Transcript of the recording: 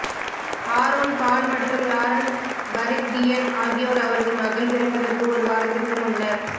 Aaron Paul மற்றும் Lauren Parsekian ஆகியோர் அவரது மகள் பிறப்பதற்கு ஒரு வாரத்திற்கு முன்னர்